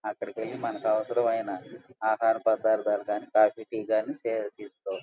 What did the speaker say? అక్కడికెళ్లి మనకవసరమైన ఆహారపదార్దాలు గాని కాఫీ టీ గాని తే-తీసుకోవచ్చు.